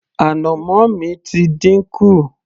ànàmọ́ mi ti dínkù